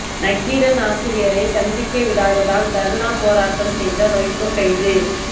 நக்கீரன் ஆசிரியரை சந்திக்க விடாததால் தர்ணா போராட்டம் செய்த வைகோ கைது